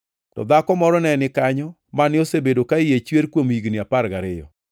To dhako moro ne ni kanyo mane osebedo ka iye chwer kuom higni apar gariyo.